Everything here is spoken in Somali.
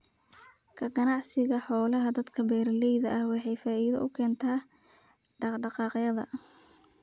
Ka ganacsiga xoolaha dadka beeraleyda ah waxay faa'iido u keentaa dhaq-dhaqaaqyada.